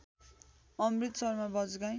अमृत शर्मा बजगाई